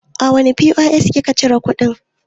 A wane POS ki ka cire kuɗin?